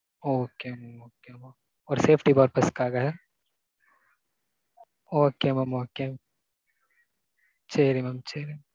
okay mam. okay. ஒரு safety purpose காக? okay mam okay. சேரி mam சேரி.